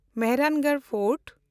Mehrangarh fort